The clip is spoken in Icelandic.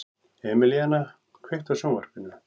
Emelíana, kveiktu á sjónvarpinu.